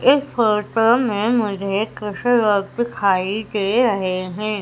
इस फोटो में मुझे कुश लोग दिखाई दे रहें हैं।